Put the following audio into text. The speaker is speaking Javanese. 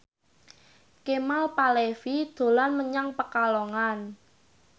Kemal Palevi dolan menyang Pekalongan